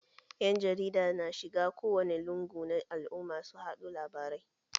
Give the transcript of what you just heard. Ƴan jarida na shiga kowane lungu na al'umma su haɗo labarai